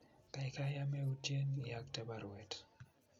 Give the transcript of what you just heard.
kaikai ameyutyen iyokte baruet